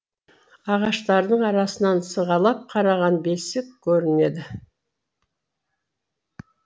ағаштардың арасынан сығалап қараған бесик көрінеді